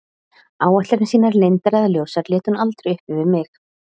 Áætlanir sínar, leyndar eða ljósar, lét hún aldrei uppi við mig.